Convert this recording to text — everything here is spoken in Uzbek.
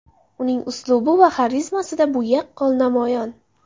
Uning uslubi va xarizmasida bu yaqqol namoyon.